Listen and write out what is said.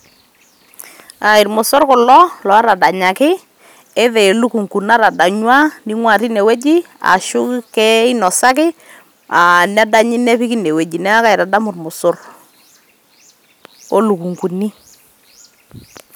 Aa irmosorr kulo lootadanyaki, enaa elukunku natadanyua neing'uaa teine weuji ashu keinosaki aa nedanyi nepiki ene wueji neeku kaitadamu irmosorr.